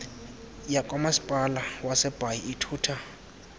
yakwamasipala wasebhayi ithutha